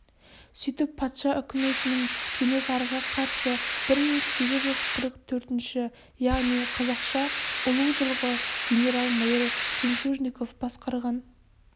сөйтіп патша үкіметінің кенесарыға қарсы бір мың сегіз жүз қырық төртінші яғни қазақша ұлу жылғы генерал-майор жемчужников басқарған